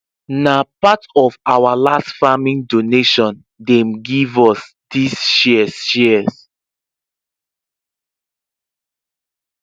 na part of our last farming donation dem give us these shears shears